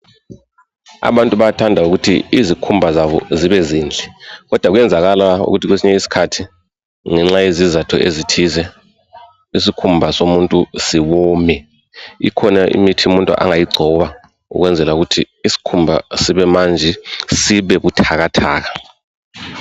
Abantu bayathanda ukuthi izikhumba zabo zibe zinhle kodwa kuyenzakala ukuthi kwesinye iskhathi ngenxa yezizatho ezithize isikhumba somuntu siwome. Ikhona imithi umuntu angayigcoba ukwenzela ukuthi isikhumba sibemanzi sibebuthakathaka.